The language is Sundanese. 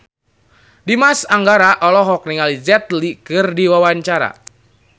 Dimas Anggara olohok ningali Jet Li keur diwawancara